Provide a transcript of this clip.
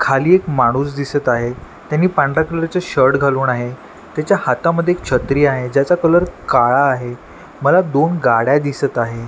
खाली एक माणूस दिसत आहे त्यांनी पांढरा कलर च शर्ट घालून आहे त्याच्या हातामध्ये एक छत्री आहे ज्याचा कलर काळा आहे मला दोन गाड्या दिसत आहे.